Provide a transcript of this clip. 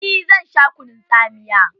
Eh zan sha kunun tsamiya.